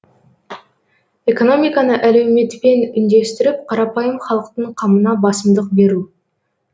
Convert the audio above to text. экономиканы әлеуметпен үндестіріп қарапайым халықтың қамына басымдық беру